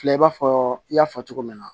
Filɛ i b'a fɔ i y'a fɔ cogo min na